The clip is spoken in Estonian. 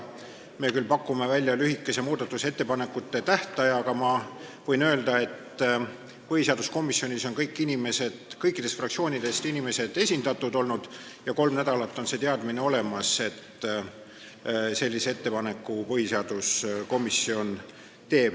Me küll pakume välja lühikese muudatusettepanekute esitamise tähtaja, aga ma võin öelda, et põhiseaduskomisjonis on olnud esindatud kõik fraktsioonid ja kolm nädalat on see teadmine olemas olnud, et põhiseaduskomisjon sellise ettepaneku teeb.